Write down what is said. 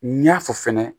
N y'a fɔ fɛnɛ